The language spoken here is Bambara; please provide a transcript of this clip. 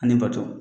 Ani bato